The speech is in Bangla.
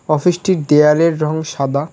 অফিস -টির দেয়ালের রং সাদা।